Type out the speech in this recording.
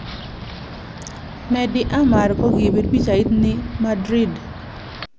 Mehdi Amar ko kipir pichait nii Madrid